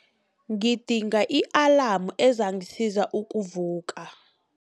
Ngidinga i-alamu ezangisiza ukuvuka.